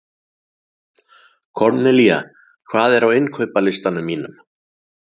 Kornelía, hvað er á innkaupalistanum mínum?